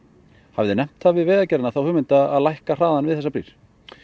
hafið þið nefnt það við Vegagerðina hugmynd að lækka hraðann við þessar brýr